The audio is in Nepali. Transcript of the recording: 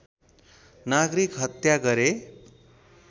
नागरिक हत्या गरे